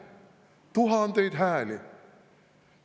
Tuhandeid hääli!